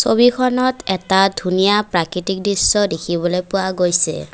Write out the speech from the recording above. ছবিখনত এটা ধুনীয়া প্ৰাকৃতিক দৃশ্য দেখিবলৈ পোৱা গৈছে।